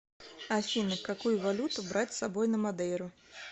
афина какую валюту брать с собой на мадейру